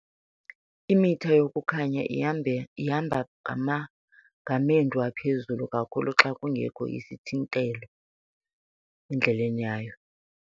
Imitha yokukhanya ihamba ngamendu aphezulu kakhulu xa kungekho sithintelo endleleni yayo.